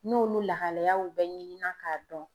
N'olu lahalayaw bɛɛ ɲini na k'a dɔn